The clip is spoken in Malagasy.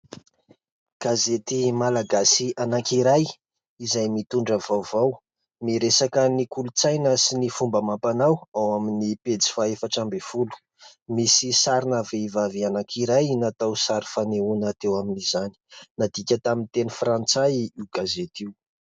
Gazety malagasy anankiray izay mitondra vaovao. Miresaka ny kolontsaina sy ny fomba amam-panao ao amin'ny pejy faha efatra ambin'ny folo. Misy sarina vehivavy anankiray natao sary fanehoana teo amin'izany. Nadika tamin'ny teny frantsay io boky io.